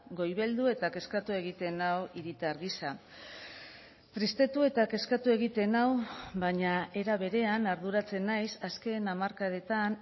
goibeldu eta kezkatu egiten nau hiritar gisa tristetu eta kezkatu egiten nau baina era berean arduratzen naiz azken hamarkadetan